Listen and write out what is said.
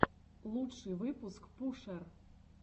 лучший выпуск пушер